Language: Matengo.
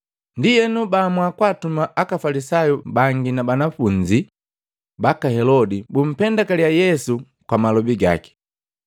Ndienu, baamua kwaatuma aka Afalisayu bangi na banafunzi baka Helodi bumpendakaliya Yesu kwa malobi gaki.